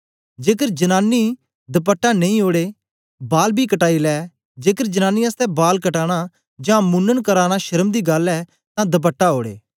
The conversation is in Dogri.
जेकर जनांनी दपटा नेई ओड़े बाल बी कटाई लै जेकर जनांनी आसतै बाल कटाना जां मुनन कराना शर्म दी गल्ल ऐ तां दपटा ओड़े